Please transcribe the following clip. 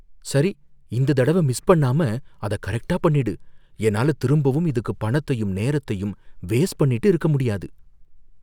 சரி, இந்தத் தடவ மிஸ் பண்ணாம அத கரெக்டா பண்ணிடு. என்னால திரும்பவும் இதுக்கு பணத்தையும் நேரத்தையும் வேஸ்ட் பண்ணிட்டு இருக்க முடியாது.